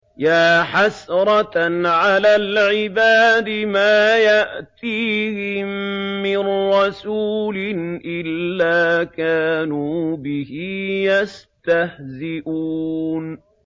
يَا حَسْرَةً عَلَى الْعِبَادِ ۚ مَا يَأْتِيهِم مِّن رَّسُولٍ إِلَّا كَانُوا بِهِ يَسْتَهْزِئُونَ